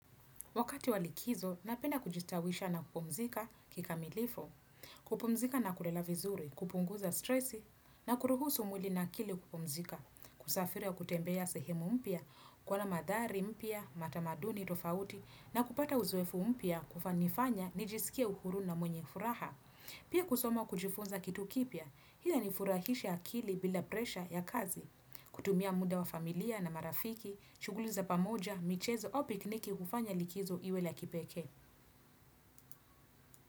Wakati wa likizo, napenda kujistawisha na kupumzika kikamilifu, kupumzika na kulala vizuri, kupunguza stresi, na kuruhusu mwili na akili kupumzika, kusafiri au kutembea sehemu mpya, kuwa na madhari mpya, matamaduni tofauti, na kupata uzoefu mpya kufanifanya nijisikie uhuru na mwenye furaha. Pia kusoma kujifunza kitu kipya, hi ina nifurahisha akili bila presha ya kazi, kutumia muda wa familia na marafiki, shuguli za pamoja, michezo au pikniki hufanya likizo iwe la kipeke.